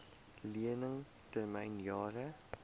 lening termyn jare